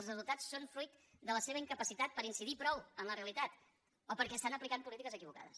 els resultats són fruit de la seva incapacitat per incidir prou en la realitat o perquè estan aplicant polítiques equivocades